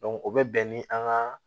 o bɛ bɛn ni an ka